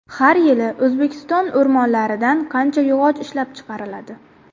Har yili O‘zbekiston o‘rmonlaridan qancha yog‘och ishlab chiqariladi?